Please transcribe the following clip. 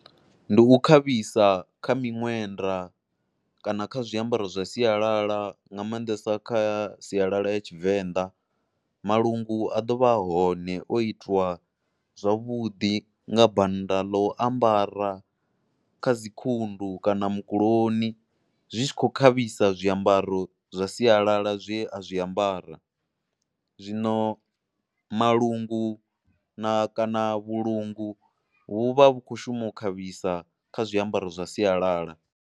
Ndi u khavhisa kha miṅwenda kana kha zwiambaro zwa sialala nga maanḓesa kha sialala ya Tshivenḓa, malungu a ḓo vha a hone o itiwa zwavhuḓi nga banda ḽo u ambara kha dzi khundu kana mukuloni zwi tshi khou khavhisa zwiambaro zwa sialala zwe a zwi ambara. Zwino malungu na kana vhulunga vhu vha vhu khou shuma u khavhisa kha zwiambaro zwa sialala.